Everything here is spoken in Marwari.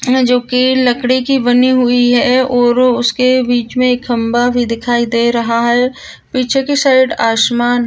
जो की लकड़े की बनी हुवे है और उसके बीच मे एक खम्भा भी दिखाई दे रहा है पीछे की साइड आसमान--